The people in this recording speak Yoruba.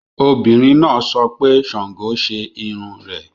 Obìnrin náà sọ pé Sango ṣe irun rẹ̀